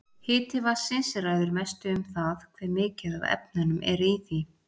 Hiti vatnsins ræður mestu um það hve mikið af efnum er í því.